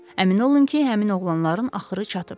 Əmin olun ki, həmin oğlanların axırı çatıb.